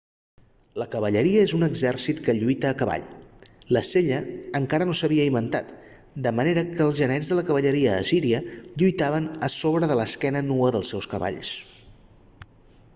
la cavalleria és un exèrcit que lluita a cavall la sella encara no s'havia inventat de manera que els genets de la cavalleria assíria lluitaven a sobre de l'esquena nua dels seus cavalls